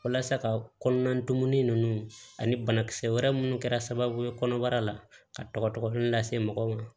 Walasa ka kɔnɔna dumuni ninnu ani banakisɛ wɛrɛ munnu kɛra sababu ye kɔnɔbara la ka tɔgɔ tɔgɔ dɔn lase mɔgɔw ma